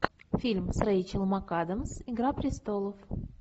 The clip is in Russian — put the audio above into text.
фильм с рэйчел макадамс игра престолов